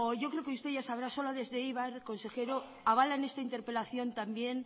yo creo que usted ya sabrá sola desde eibar consejero avalan esta interpelación también